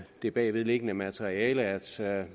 det bagvedliggende materiale at